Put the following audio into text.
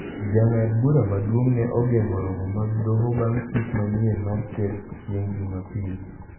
Jang'ad bura maduong' ne ogeng'o romo mag doho bang' chik manyien mar ker chieng' Jumapil.